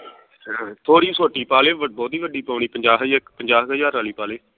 ਥੋੜੀ ਛੋਟੀ ਪਾਲੇ ਬਹੁਤੀ ਵੱਡੀ ਪਾਉਣੀ ਪੰਜਾਹ ਪੰਜਾਬ ਕੁ ਹਜਾਰ ਵਾਲੀ ਪਾ ਲੇ